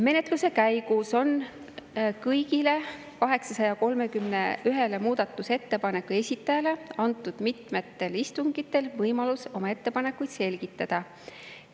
Menetluse käigus on kõigi 831 muudatusettepaneku esitajatele antud mitmetel istungitel võimalus oma ettepanekuid selgitada.